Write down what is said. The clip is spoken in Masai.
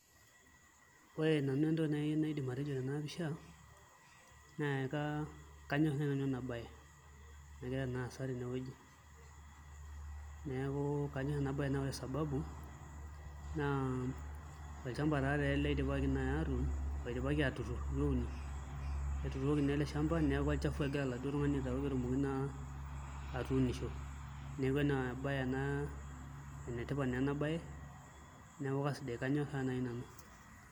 Ore nanu entoki naidim atejo tena pisha naa kanyorr sinanu ena baye nagira naa aasa tenewueji neeku kanyorr ena baye naa ore sababu naa olchamba taatoi ele oidipaki naai atuun oidipaki aatuturr itu euni, etuturoki naa ele shamba neeku olchafu egira oladuo tung'ani aitaau pee etumoki naa atuunisho neeku enetipat naa ena baye neeku kasidai, kanyorraa naai nanu.